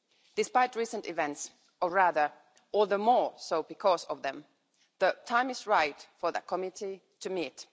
Despite recent events or rather, all the more so because of them the time is right for that Committee to meet.